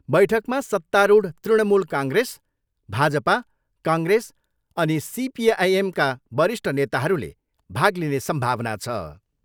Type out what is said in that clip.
बैठकमा सत्तारूढ Trinamool Congress, Bhajpa, Congress अनि सिपिआइएमका वरिष्ठ नेताहरूले भाग लिने सम्भावना छ।